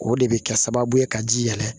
O de bɛ kɛ sababu ye ka ji yɛlɛ